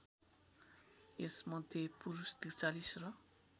यसमध्ये पुरुष ४३ र